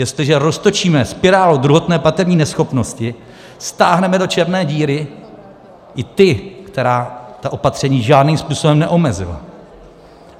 Jestliže roztočíme spirálu druhotné platební neschopnosti, stáhneme do černé díry i ty, které ta opatření žádným způsobem neomezila.